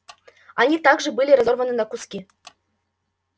они также были разорваны на куски